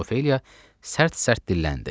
Miss Ofeliya sərt-sərt dilləndi.